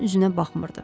onun üzünə baxmırdı.